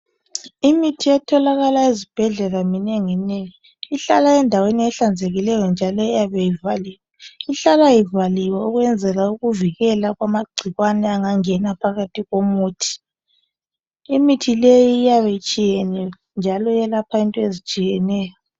Imithi etholakala ezibhedlela minengi nengi ihlala endaweni ehlanzekileyo njalo iyabe ivaliwe , ihlala ivaliwe ukwenzela ukuvikela kwamagcikwane angangena phakathi komuthi, imithi leyi iyabe itshiyene njalo iyelapha into ezitshiyeneyo.